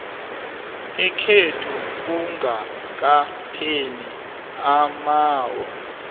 ekhotho kungakapheli amaawa